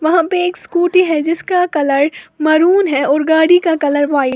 वहां पे एक स्कूटी है जिसका कलर मैरून है और गाड़ी का कलर व्हाइट ।